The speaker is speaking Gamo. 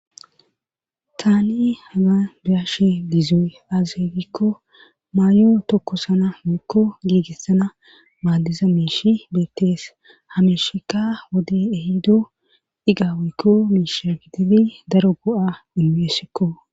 tani haga bi'ashe gizoy aaze gikko maayo tokkosana woyikko giigissana maaddiza meishi beettees ha mesheka wode ehido iga woykko miisha gididi daro go'a imeesekko